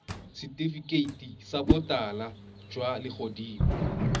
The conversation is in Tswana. setifikeiti sa botala jwa legodimo